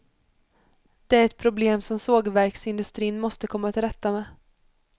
Det är ett problem som sågverksindustrin måste komma till rätta med.